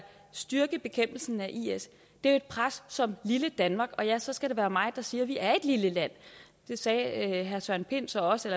styrke bekæmpelsen af is er et pres som et lille danmark ja så skal det være mig der siger at vi er et lille land det sagde herre søren pind så også